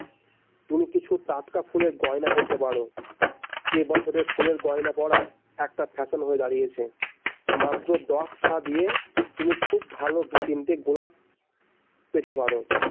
তুমি কিছু টাটকা ফুলের গয়না পড়তে পারো এবছরে ফুলের গয়না পড়া একটা fashion হয়ে দাঁড়িয়েছে মাত্র দশ ফা দিয়ে তুমি খুব ভালো দু তিনটে গোলাপ পেতে পারো।